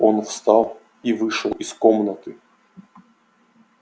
он встал и вышел из комнаты